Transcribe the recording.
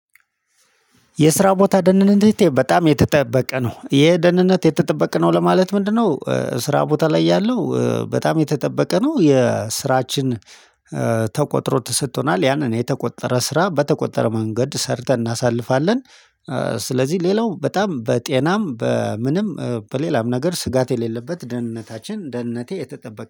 የስራ ቦታ ደህንነቴ በጣም የተጠበቀ ነው። ይሄ ደህንነት የተጠበቀ ነው ለማለት ምንድነው? ስራ ላይ ያለው በጣም የተጠበቀ ነው። የስራችን ተቆጥሮ ትሰጥቶናል ያንን የተቆጠረ ስራ በተቆጠረ መንገድ ሰርተን እናሳልፋለን። ስለዚህ ሌላው በጣም በጤናም በምንም በሌላም ነገር ስጋት የሌለበት ደህንነታችን ደህንነቴ የተጠበቀ